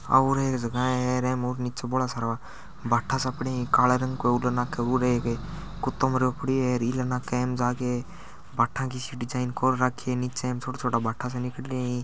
आ उर एक जगह है एम नीचे बोला सारा बाटा सा पड़ा है कला रंग का उरल नाक उर एक कुतो मरो पड़ा है अल नाक एम बाटा की सी डिजाइन कोर रखी है बाटा सा लिकड़ रा है।